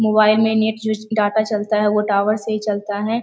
Mobile मे net switch data चलता है वो टावर से ही चलता है ।